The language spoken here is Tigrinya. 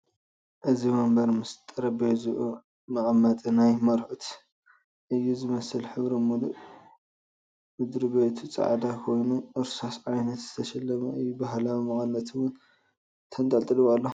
እዚ ወንበር ምስ ጠረቤዝኡ መቐመጢ ናይ መርዑት እዩ ዝመስል ሕብሩ ሙሉእ ምድር-ቤቱ ፃዕዳ ኾይኑ እርሳስ ዓይነት ዝተሸለመ እዩ። ባህላዊ መቐነት'ውን ተንጠልጢሉዎ ኣሎ ።